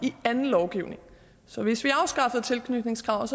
i anden lovgivning så hvis vi afskaffede tilknytningskravet